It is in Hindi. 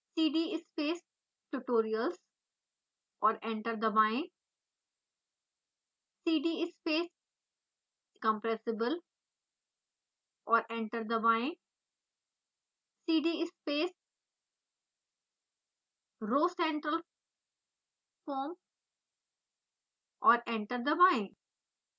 cd space tutorials और एंटर दबाएं cd space compressible और एंटर दबाएं cd space rhocentralfoam और एंटर दबाएं